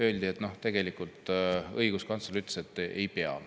Öeldi, et tegelikult õiguskantsler ütles, et ei pea.